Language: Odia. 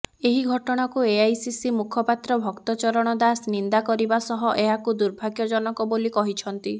ଏହି ଘଟଣାକୁ ଏଆଇସିସି ମୁଖପାତ୍ର ଭକ୍ତ ଚରଣ ଦାସ ନିନ୍ଦା କରିବା ସହ ଏହାକୁ ଦୁର୍ଭାଗ୍ୟଜନକ ବୋଲି କହିଛନ୍ତି